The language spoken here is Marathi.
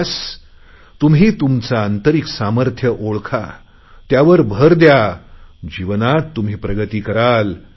बस्स तुम्ही तुमचे आंतरिक सामर्थ्य ओळखा त्यावर भर द्या जीवनात तुम्ही प्रगती कराल